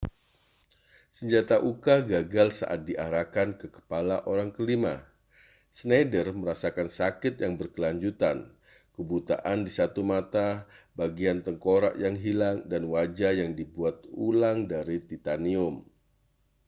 senjata uka gagal saat diarahkan ke kepala orang kelima schneider merasakan sakit yang berkelanjutan kebutaan di satu mata bagian tengkorak yang hilang dan wajah yang dibuat ulang dari titanium